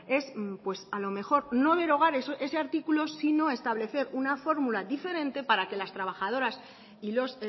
es a lo mejor no derogar ese artículo sino establecer una fórmula diferente para que las trabajadoras y los